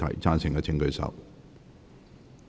贊成的請舉手。